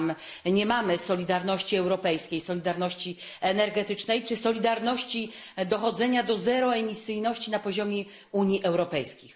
Tam nie ma solidarności europejskiej, solidarności energetycznej czy solidarności w dążeniu do zerowej emisyjności na poziomie Unii Europejskiej.